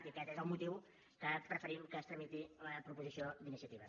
i aquest és el motiu perquè preferim que es tramiti la proposició d’iniciativa